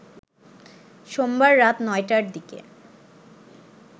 সোমবার রাত ৯টার দিকে